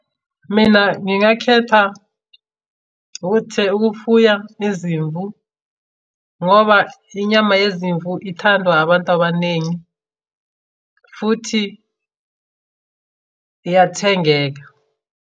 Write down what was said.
Mina ngingakhetha ukuthi, ukufuya izimvu ngoba inyama yezimvu ithandwa abantu abaningi futhi iyathengeka.